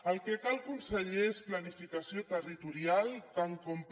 el que cal conseller és planificació territorial tant com per